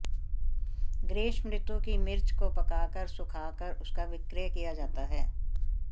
ग्रीष्मऋतु की मिर्च को पकाकर सुखाकर उसका विक्रय किया जाता है